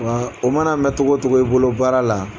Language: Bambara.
Wa o mana mɛn togɔ togo i bolo baara la.